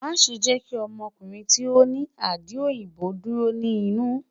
Maṣe jẹ ki ọmọkunrin ti o ni adi oyinbo duro ni inu